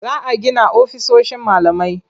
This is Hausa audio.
Za a gina ofisoshin malamai.